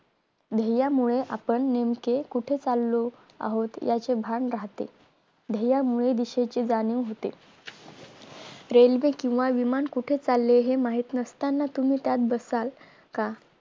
ध्येयामुळे आपण नेमकी कुठे चालो आहोत याचे भान राहते ध्येया मुळे दिशेचे जाणीव होते रेल्वे किंवा विमान कुठे चालले हे माहित नसताना तुम्ही त्यात बसालं का